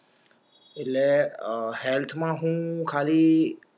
એટલે અ હેલ્થમાં હું ખાલી